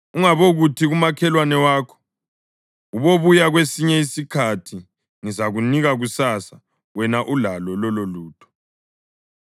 Ungabokuthi kumakhelwane wakho: “Ubobuya kwesinye isikhathi; ngizakunika kusasa” wena ulalo lololutho.